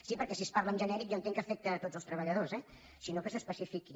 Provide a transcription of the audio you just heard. sí perquè si es parla en genèric jo entenc que afecta tots els treballadors eh si no que s’especifiqui